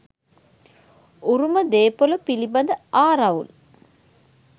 උරුම දේපොල පිළිබඳ ආරවුල්